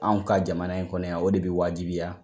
Anw ka jamana in kɔnɔ yan o de bɛ waajibiya.